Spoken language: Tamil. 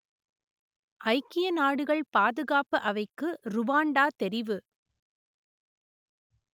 ஐக்கிய நாடுகள் பாதுகாப்பு அவைக்கு ருவாண்டா தெரிவு